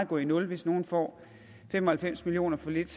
gå i nul hvis nogen får fem og halvfems millioner for lidt